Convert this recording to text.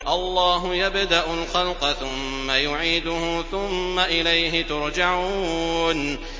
اللَّهُ يَبْدَأُ الْخَلْقَ ثُمَّ يُعِيدُهُ ثُمَّ إِلَيْهِ تُرْجَعُونَ